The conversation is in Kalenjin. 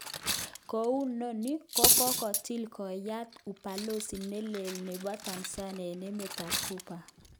Kounoni, kokakotil koyot Ubalozi nelel nebo Tanzania eng emet ab Cuba.